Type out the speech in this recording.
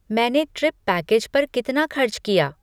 मैंने trip package पर कितना खर्च किया?